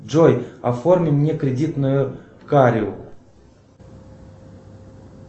джой оформи мне кредитную карту